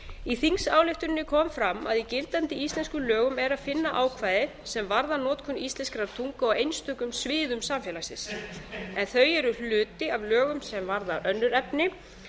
í þingsályktuninni kom fram að í gildandi íslenskum lögum er að finna ákvæði sem varða notkun íslenskrar tungu á einstökum sviðum samfélagsins en þau eru hluti af lögum sem varða önnur efni